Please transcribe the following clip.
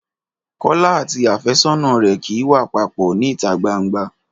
Kọ́lá àti àfẹ́sọ́nà rẹ̀ kì í wà papọ̀ níta gbangba